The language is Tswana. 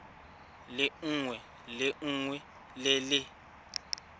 lengwe le lengwe le le